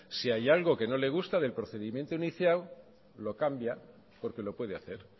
si hay algo que no le gusta del procedimiento inicial lo cambia porque lo puede hacer